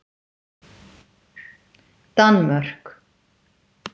Danmörk